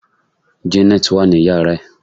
janet wa ni yara ẹ